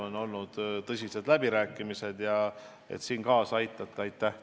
On olnud tõsised läbirääkimised ja aitäh teile, et te mind aitate!